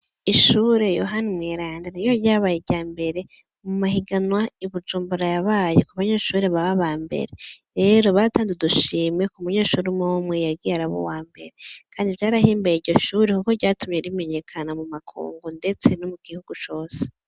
Ishure yohani umweranda niryo ryabaye irya mbere mu mahiganwa ibijumbura yabaye ku banyeshure baba aba mbere . Rero baratanze udushimwe ku munyeshure umwumwe yagiye araba uwa mbere kandi vyarahimbaye iryo shure kuko vyatumye rimenyekana mu makungu ndetse no mu gihugu cose.